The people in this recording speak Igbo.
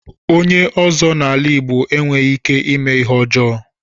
Onye ọ́zọ́ n'ala Igbo enweghị ikike ímé Ihe ọjọọ